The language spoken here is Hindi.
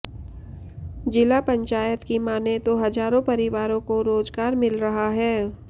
ज़िला पंचायत की मानें तो हज़ारों परिवारों को रोज़गार मिल रहा है